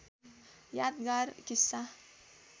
यादगार किस्सा